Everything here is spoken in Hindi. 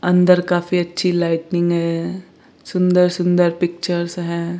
अंदर काफी अच्छी लाइटिंनींग है सुंदर सुंदर पिक्चर्स है।